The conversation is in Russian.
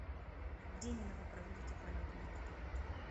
где именно вы проводите полеты на вертолете